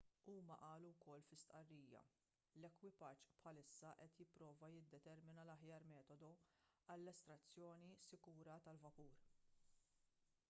huma qalu wkoll fi stqarrija l-ekwipaġġ bħalissa qed jipprova jiddetermina l-aħjar metodu għall-estrazzjoni sikura tal-vapur